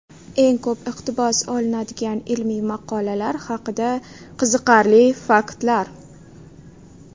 Eng ko‘p iqtibos olinadigan ilmiy maqolalar haqida qiziqarli faktlar.